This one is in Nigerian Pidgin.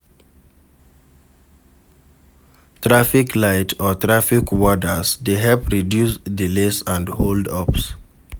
Traffic light or traffic warders de help reduce delays and hold ups